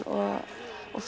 og